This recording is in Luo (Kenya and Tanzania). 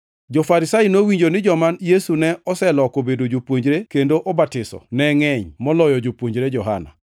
Jo-Farisai nowinjo ni joma Yesu ne oseloko obedo jopuonjre, kendo obatiso ne ngʼeny moloyo jopuonjre Johana,